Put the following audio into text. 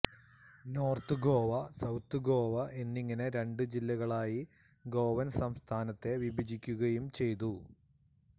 north Goa south Goa എന്നിങ്ങനെ രണ്ട് ജില്ലകളായ് ഗോവൻ സംസ്ഥാനത്തെ വിഭജിക്കുകയും ചെയ്തു